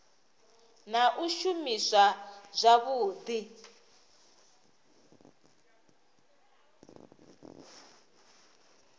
na u shumiswa zwavhudi ha